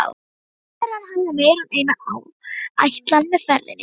Ráðherrann hafði meira en eina ætlan með ferðinni.